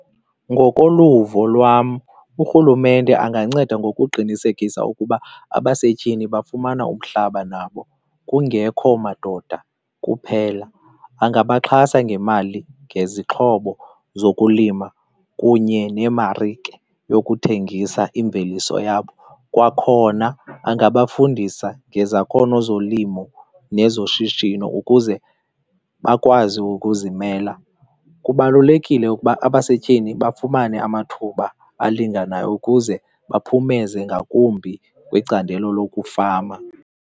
Ngokoluvo lwam, urhulumente anganceda ngokuqinisekisa ukuba abasetyhini bafumana umhlaba nabo kungekho madoda kuphela. Angabaxhasa ngemali, ngezixhobo zokulima kunye nemarike yokuthengisa imveliso yabo. Kwakhona angabafundisa ngezakhono zolimo nezoshishino ukuze bakwazi ukuzimela. Kubalulekile ukuba abasetyhini bafumane amathuba alinganayo ukuze baphumeze ngakumbi kwicandelo lokufama.